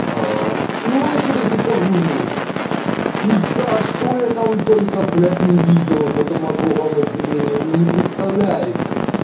и он ещё до сих пор живой пизда что я там только блядь не видел в этом ожоговом отделении вы не представляете